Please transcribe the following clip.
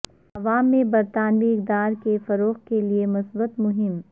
عوام میں برطانوی اقدار کے فروغ کے لیے مثبت مہم